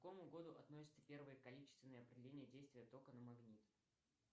к какому году относится первое количественное определение действия тока на магнит